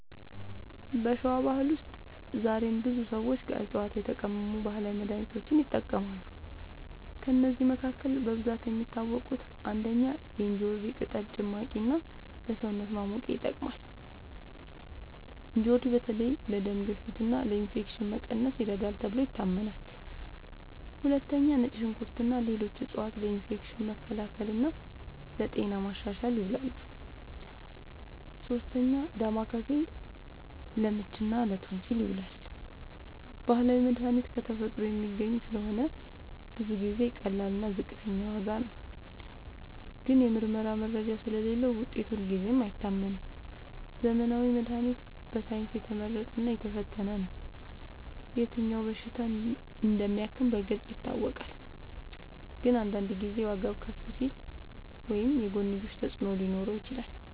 በሸዋ ባህል ውስጥ ዛሬም ብዙ ሰዎች ከዕፅዋት የተቀመሙ ባህላዊ መድሃኒቶችን ይጠቀማሉ። ከእነዚህ መካከል በብዛት የሚታወቁት፦ ፩. እንጆሪ ቅጠል ጭማቂ እና ለሰውነት ማሞቂያ ይጠቅማል። እንጆሪ በተለይ ለደም ግፊት እና ለኢንፌክሽን መቀነስ ይረዳል ተብሎ ይታመናል። ፪. ነጭ ሽንኩርት እና ሌሎች ዕፅዋት ለኢንፌክሽን መከላከል እና ለጤና ማሻሻል ይውላሉ። ፫. ዳማከሴ ለምች እና ለቶንሲል ይዉላል። ባህላዊ መድሃኒት ከተፈጥሮ የሚገኝ ስለሆነ ብዙ ጊዜ ቀላል እና ዝቅተኛ ዋጋ ነው። ግን የምርመራ መረጃ ስለሌለዉ ውጤቱ ሁልጊዜ አይታመንም። ዘመናዊ መድሃኒት በሳይንስ የተመረጠ እና የተፈተነ ነው። የትኛው በሽታ እንደሚያክም በግልጽ ይታወቃል። ግን አንዳንድ ጊዜ ዋጋዉ ከፍ ሊል ወይም የጎንዮሽ ተፅዕኖ ሊኖረው ይችላል።